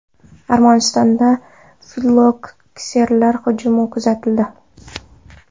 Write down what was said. Armanistonda fillokseralar hujumi kuzatildi.